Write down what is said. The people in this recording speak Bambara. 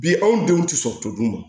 Bi anw denw tɛ sɔn toto dun ma